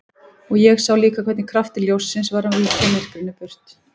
Og ég sá líka hvernig kraftur ljóssins var að víkja myrkrinu burt.